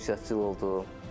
Ünsiyyətcil oldum.